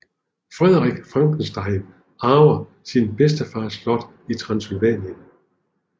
Frederick Frankenstein arver sin bedstefars slot i Transsylvanien